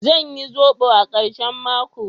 Zan yi zobo a karshen mako.